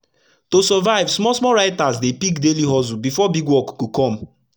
to survive small small writers dey pick daily hustle before big work go come